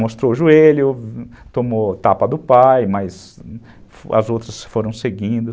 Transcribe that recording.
Mostrou o joelho, tomou tapa do pai, mas as outras foram seguindo.